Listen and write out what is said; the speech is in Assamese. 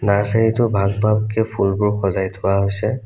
নাৰ্চেৰীটো ভাগ ভাগকে ফুলবোৰ সজাই থোৱা হৈছে।